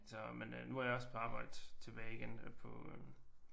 Så men øh nu er jeg også på arbejde tilbage igen på øh